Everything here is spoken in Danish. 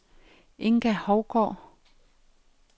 Inga Hougaard